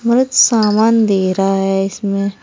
मरद सामान दे रहा है इसमें।